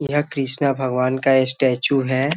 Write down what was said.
यह कृष्णा भगवान का स्टेचू है।